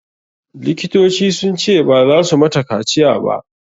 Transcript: Likitocin sun ce baza su mata kaciya ba.